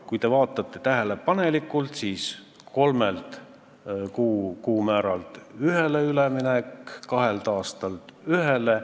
Kui te vaatate tähelepanelikult, siis selles tehakse ettepanek minna üle kolme kuupalga määralt ühele ja ühelt tööaastalt kahele.